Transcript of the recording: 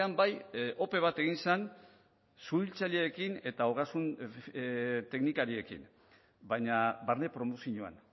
bai ope bat egin zen suhiltzaileekin eta ogasun teknikariekin baina barne promozioan